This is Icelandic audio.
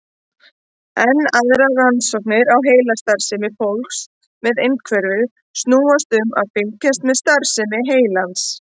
Enn aðrar rannsóknir á heilastarfsemi fólks með einhverfu snúast um að fylgjast með starfsemi heilans.